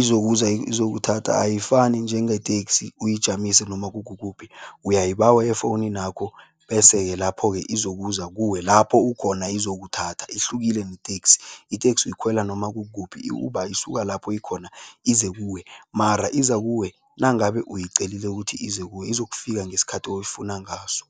izokuza izokuthatha. Ayifani njengeteksi uyijamise noma kukukuphi, uyayibawa efowuninakho bese-ke lapho-ke izokuza kuwe lapho ukhona izokuthatha, ihlukile neteksi. Iteksi uyikhwela noma kukukuphi, i-Uber isuka lapho ikhona ize kuwe mara iza kuwe nangabe uyicelile ukuthi ize kuwe, izokufika ngesikhathi oyifuna ngaso.